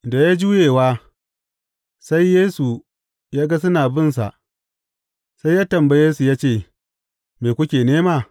Da juyewa, sai Yesu ya ga suna bin sa, sai ya tambaye, su ya ce, Me kuke nema?